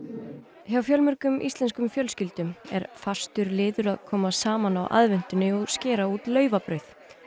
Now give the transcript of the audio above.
hjá fjölmörgum íslenskum fjölskyldum er fastur liður að koma saman á aðventunni og skera út laufabrauð